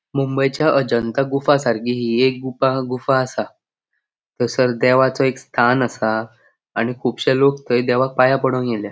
मुंबईच्या अजंता गुफा सारखी हि एक गुपा गुफा आसा थंयसर देवाचो एक स्थान आसा आणि खुपशे लोक थंय देवाक पाया पोडोन्क येल्या.